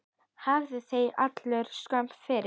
Hafi þeir allir skömm fyrir!